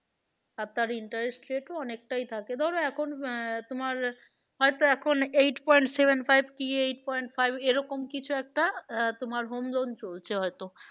আর তার interest rate ও অনেকটাই বেশি থাকে ধরো এখন আহ তোমার হয়তো এখন eight point seven five কি eight point five এরকম কিছু একটা আহ তোমার home loan চলছে হয়তো